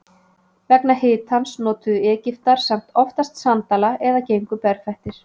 Vegna hitans notuðu Egyptar samt oftast sandala eða gengu berfættir.